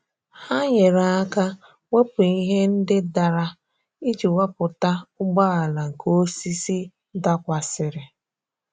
Ha nyere aka wepụ ihe ndị dara iji wepụta ụgbọala nke osisi dakwasịrị.